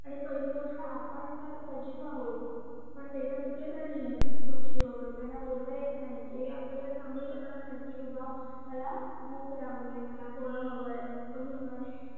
आणि पहिली गोष्ट आपण पण सजीव आहोत, पण ते तर मुके प्राणी आहेत पक्षी वगरे त्यांना बोलता येत नाही ते आपल्याला सांगू शकणार नाहीत कि बाबा मला भूक लागली आहे मला फळं हवंय अजून काय